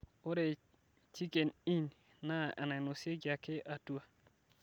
ore chiken inn naa enainosieki ake atua